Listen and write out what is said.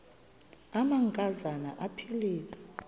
amanka zana aphilele